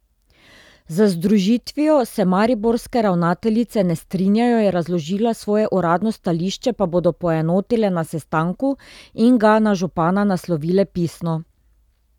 Z združitvijo se mariborske ravnateljice ne strinjajo, je razložila, svoje uradno stališče pa bodo poenotile na sestanku in ga na župana naslovile pisno.